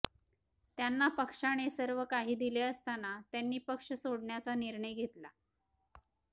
त्यांना पक्षाने सर्व काही दिले असताना त्यांनी पक्ष सोडण्याचा निर्णय घेतला